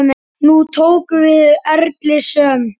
Nú tóku við erilsöm ár.